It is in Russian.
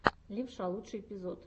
левша лучший эпизод